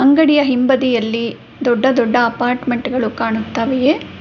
ಅಂಗಡಿಯ ಹಿಂಬದಿಯಲ್ಲಿ ದೊಡ್ಡ ದೊಡ್ಡ ಅಪಾರ್ಟ್ಮೆಂಟ್ ಗಳು ಕಾಣುತ್ತವೆ.